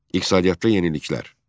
İqtisadiyyatda yeniliklər.